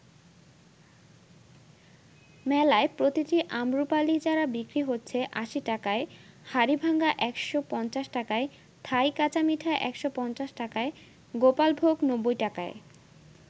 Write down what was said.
মেলায় প্রতিটি আমরুপালী চারা বিক্রি হচ্ছে ৮০ টাকায়, হাড়িভাঙা ১৫০ টাকায়, থাই কাঁচামিঠা ১৫০ টাকায়, গোপালভোগ ৯০ টাকায়।